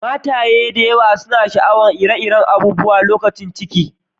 Mataye da yawa suna sha'awan ire-iren abubuwa lokacin ciki.